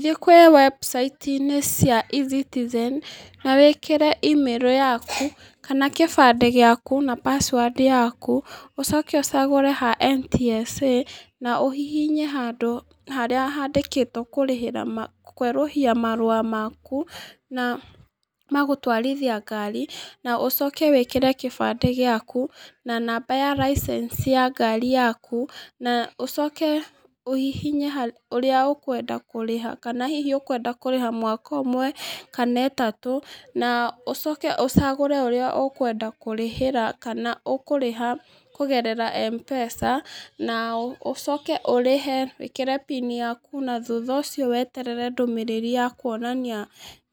Thiĩ kwĩ webusaiti -inĩ cia e-citizen na wikĩĩre email yaku kana gĩbande gĩaku kana pasuadi yaku ũcoke ocagũre ha NTSA na ũhihinye handũ harĩa handĩkĩtwo kũrĩhĩra kwerũhia marũa maku na magũtwarithia ngari na ũcoke wĩkĩre gĩbandĩ gĩaku na namba ya license ya ngari yaku na ũcoke ũhihinye ũrĩa ũkwenda kũrĩha kana hihi ũkwenda kũrĩha mwaka ũmwe kana ĩtatũ na ũcoke ũcagũre ũrĩa ũkwenda kũrĩha kana ũkwenda kũrĩha na Mpesa na ũcoke ũhũrĩre wĩkĩre pini yaku na thutha ũcio weterere ndũmĩrĩri ya kwonania